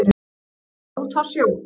Ég var úti á sjó.